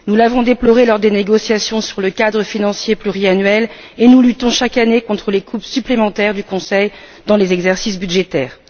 Nous l'avons déploré lors des négociations sur le cadre financier pluriannuel et nous luttons chaque année contre les coupes supplémentaires du Conseil dans les exercices budgétaires.